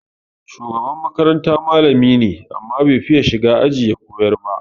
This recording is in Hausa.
Shugaban makaranta malami ne, amma bai fiya shiga aji ya koyar ba.